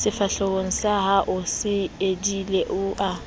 sefahlehosahao se edile o a